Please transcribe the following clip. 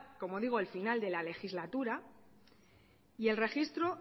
como digo el final de la legislatura y el registro